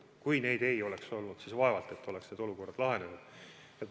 Kui neid ei oleks olnud, siis vaevalt et oleks need olukorrad lahenenud.